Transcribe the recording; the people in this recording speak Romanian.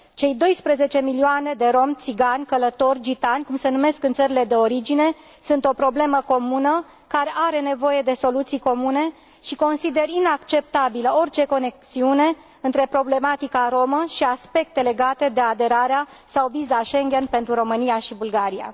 Cei 12 milioane de romi, țigani, călători, gitani cum se numesc în țările de origine sunt o problemă comună, care are nevoie de soluții comune și consider inacceptabilă orice conexiune între problematica romă și aspecte legate de aderarea sau viza Schengen pentru România și Bulgaria.